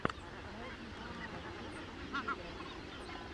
найди кинокартину в стиле драмы